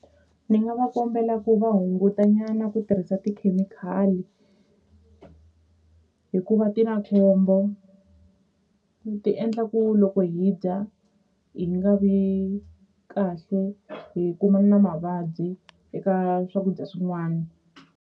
Ni nga va kombela ku va hunguta nyana ku tirhisa tikhemikhali hikuva ti na khombo ti endla ku loko hi dya hi nga vi kahle hi kumana na mavabyi eka swakudya swin'wana.